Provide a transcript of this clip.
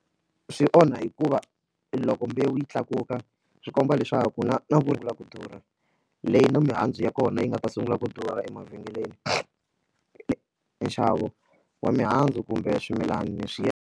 Swi onha hikuva loko mbewu yi tlakuka swi komba leswaku na na vo ku durha leyi na mihandzu ya kona yi nga ta sungula ku durha emavhengeleni nxavo wa mihandzu kumbe swimilana swi ya.